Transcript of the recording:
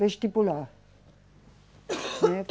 Vestibular.